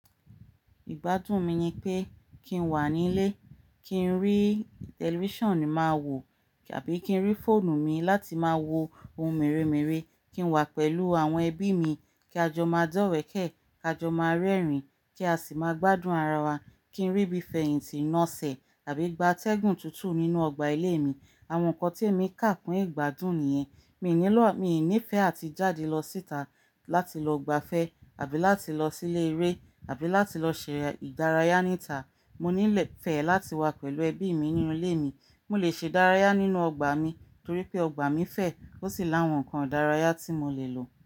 Ìgbádùn mi ni pé kí n wà nílé, kí n rí television máa wo, àbí kí n rí fóònù mi láti má wo ohun mèremère, kí n wà pẹ̀lú àwọn ẹbí mi, kí a jọ má dọ́wẹ̀kẹ̀, ka jọ má rẹ́rìn, kí a sì má gbádùn ara wa, kí n ríbí fẹ̀hìntì náṣẹ àbí gbatẹ́gùn tútù nínú ọgbà ilé mi. Àwọn nǹkan tí èmi kà kún ìgbádùn nìyẹn. Mi ní lo a, mi i nífẹ́ àti jáde lọ síta láti lọ gbafẹ́ àbí láti lọ sílé eré àbí láti lọ ṣe ìdárayá níta. Mo nílẹ̀ fẹ́ láti wà pẹ̀lú ẹbí mi nínú ilé mi. Mo lè ṣedárayá nínú ọgbà mi torí pé ọgbà mi fẹ̀, ó sì láwọn nǹkan ìdárayá tí mo lè lò.